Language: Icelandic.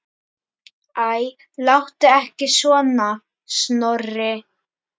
Æ, láttu ekki svona, Snorri.